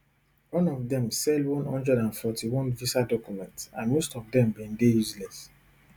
one of dem sell one hundred and forty-one visa documents and most of dem bin dey useless